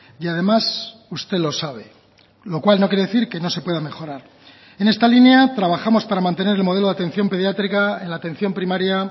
y además usted lo sabe lo cual no quiere decir que no se pueda mejorar en esta línea trabajamos para mantener el modelo de atención pediátrica en la atención primaria